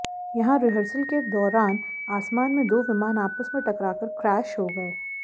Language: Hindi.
यहां रिहर्सल के दौरान आसमान में दो विमान आपस में टकराकर क्रैश हो गए